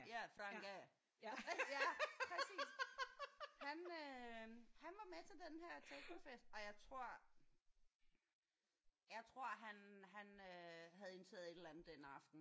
Ja for han gav ja præcis han øh han var med til den her technofest og jeg tror jeg tror han han øh havde indtaget et eller andet den aften